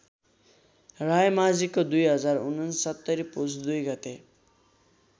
रायमाझीको २०६९ पुष २ गते